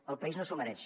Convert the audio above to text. el país no s’ho mereix